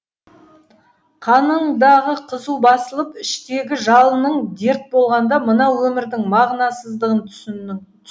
қаныңдағы қызу басылып іштегі жалының дерт болғанда мына өмірдің мағынасыздығын түсіндің